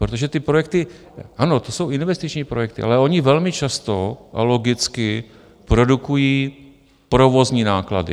Protože ty projekty - ano, to jsou investiční projekty, ale ony velmi často a logicky produkují provozní náklady.